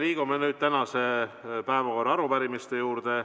Liigume nüüd tänase päevakorra arupärimiste juurde.